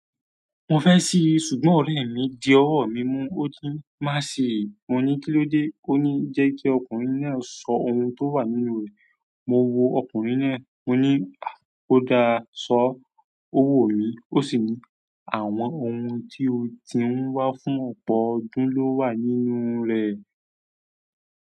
Mo fẹ́ ṣíi ṣùgbọ́n ọ̀rẹ́ mi di ọwọ́ mi mú. Ó ní má ṣi. Mo ní kí ló dé? Ó ní jẹ́ kí ọkùnrin náà sọ ohun tó wà nínú rẹ̀. Mo wo ọkùnrin náà. Ó ní, "À ó dáa, sọ owó mi." ó sì ní, àwọn ohun tí o ti ń wá fún ọ̀pọ̀lọpọ̀ ọdún ni owá ní inú rẹ̀.